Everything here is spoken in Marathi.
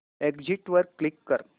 एग्झिट वर क्लिक कर